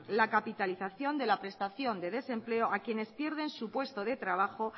la capitalización de la prestación de desempleo a quienes pierden su puesto de trabajo